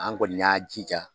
An kɔni y'a jija